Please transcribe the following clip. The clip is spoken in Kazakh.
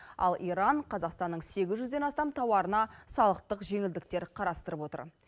ал иран қазақстанның сегіз жүзден астам тауарына салықтық жеңілдіктер қарастырып отыр